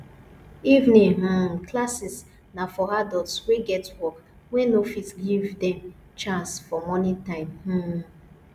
evening um classes na for adults wey get work wey no fit give dem chance for morning time um